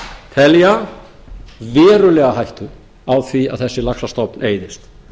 telja verulega hættu á því að þessi laxastofn eyðist